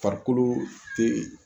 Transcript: Farikolo te